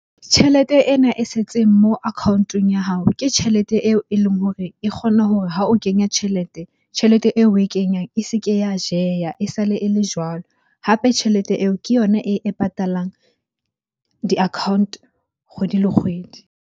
Tjhelete ena e setseng mo account-ong ya hao ke tjhelete eo e leng hore e kgona hore ha o kenya tjhelete, tjhelete eo oe kenyang e se ke ya jeha, e sale e le jwalo. Hape tjhelete eo ke yona e patalang di-account kgwedi le kgwedi.